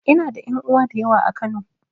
Ina da ƴan uwa da yawa a Kano.